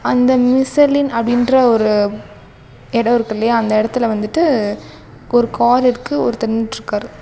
அந்த மிஷலின் அப்படின்ற ஒரு எடோ இருக்குல்லையா அந்த எடத்துல வந்துட்டு ஒரு கார் இருக்கு ஒருத்தர் நின்னுட்ருக்காரு.